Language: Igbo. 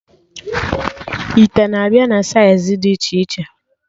Ite na-abịa na saịz dị iche iche